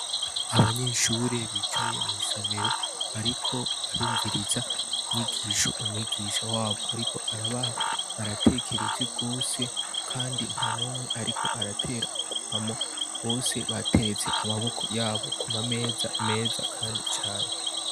Abanyeshuri bicaye mw' isomero bariko barumviriz' inyigish' umwigisha wab' arik' arabaha baratekereje rwose kandi nta numw' arik' arater' ugwamo, bose baterets' amaboko yabo kuma meza, kuruhome hasiz'irangi ryera, umwarimu wabo yambay' itaburiya yera bicaye ku ntebe zikozwe muburyo bugezweho hari n' idirisha n umuryango bibonesh' umuco